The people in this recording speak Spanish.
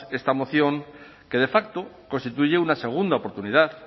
esta moción que de facto constituye una segunda oportunidad